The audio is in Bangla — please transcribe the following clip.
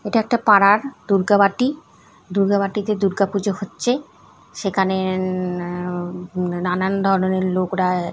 এটা একটা পাড়ার দূর্গা বাটি দূর্গা বাটিতে দূর্গা পুজো হচ্ছে সেখানে উম নানান ধরনের লোকরা--